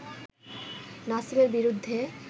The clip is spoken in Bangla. নাসিমের বিরুদ্ধে